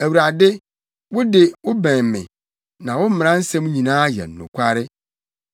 Awurade, wo de, wobɛn me, na wo mmara nsɛm nyinaa yɛ nokware.